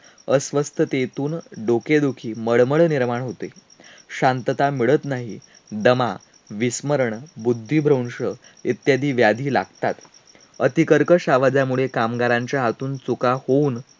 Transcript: अस्वस्थतेतून डोकेदुखी, मळमळ निर्माण होते. शांतता मिळत नाही. दमा, विस्मरण, बुद्धीभ्रंश इत्यादी व्याधी लागतात. अतिकर्कश आवाजामुळे कामगारांच्या हातून चुका होऊन